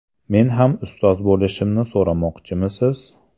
Men ham ustoz bo‘lishimni so‘ramoqchimisiz?”.